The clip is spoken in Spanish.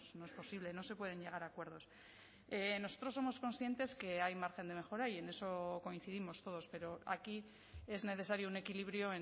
no es posible no se pueden llegar a acuerdos nosotros somos conscientes que hay margen de mejora y en eso coincidimos todos pero aquí es necesario un equilibrio